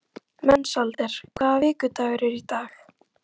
Mensalder, hvaða vikudagur er í dag?